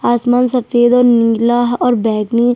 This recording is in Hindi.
आसमान सफेद और नीला है और बैगनी--